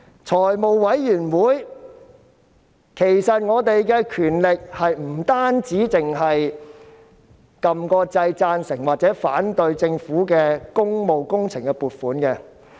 在財務委員會，議員的權力不僅是按掣表示贊成或反對政府工務工程的撥款。